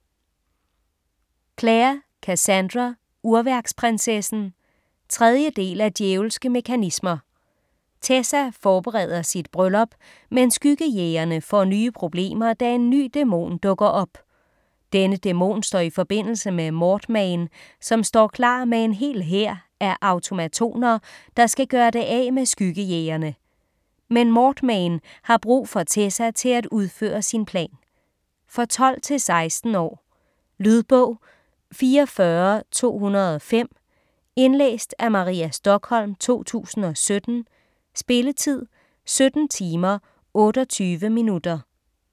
Clare, Cassandra: Urværksprinsessen 3. del af Djævelske mekanismer. Tessa forbereder sit bryllup, men Skyggejægerne får nye problemer, da en ny dæmon dukker op. Denne dæmon står i forbindelse med Mortmain, som står klar med en hel hær af automatoner, der skal gøre det af med Skyggejægerne. Men Mortmain har brug for Tessa til at udføre sin plan. For 12-16 år. Lydbog 44205 Indlæst af Maria Stokholm, 2017. Spilletid: 17 timer, 28 minutter.